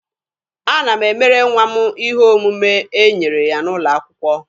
Ana m emere nwa m ihe omume e nyere ya n'ụlọ akwụkwọ.